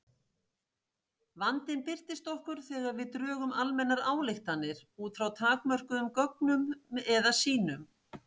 Vandinn birtist okkur þegar við drögum almennar ályktanir út frá takmörkuðum gögnum eða sýnum.